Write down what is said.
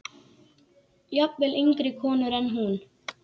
Jafnvel yngri konur en hún.